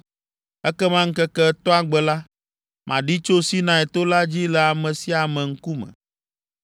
Ekema ŋkeke etɔ̃a gbe la, maɖi tso Sinai to la dzi le ame sia ame ŋkume.